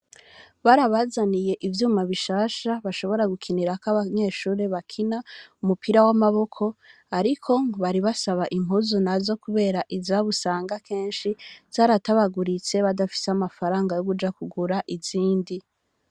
Barabazaniye ivyuma bishasha bashobora gukinirako, abanyeshure bakina umupira w'amaboko, ariko ngo bari basaba impuzu nazo kubera izabo usanga kenshi zaratabaguritse, badafise amafaranga yo kuja kugura izindi.